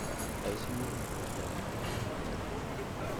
Aici mohagwo njera mĩaka mũgwanja